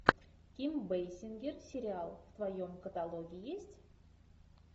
ким бейсингер сериал в твоем каталоге есть